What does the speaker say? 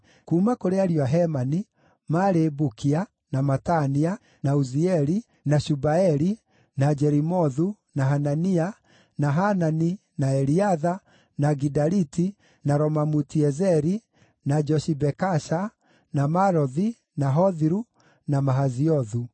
Kuuma kũrĩ ariũ a Hemani: maarĩ Bukia, na Matania, na Uzieli, na Shubaeli, na Jerimothu, na Hanania, na Hanani, na Eliatha, na Gidaliti, na Romamuti-Ezeri, na Joshibekasha, na Malothi, na Hothiru, na Mahaziothu.